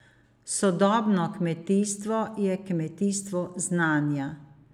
Sodobno kmetijstvo je kmetijstvo znanja.